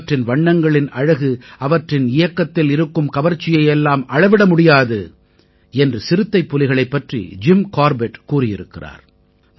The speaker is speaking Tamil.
அவற்றின் வண்ணங்களின் அழகு அவற்றின் இயக்கத்தில் இருக்கும் கவர்ச்சியை எல்லாம் அளவிட முடியாது என்று சிறுத்தைப்புலிகளைப் பற்றி ஜிம் கார்பெட் கூறியிருக்கிறார்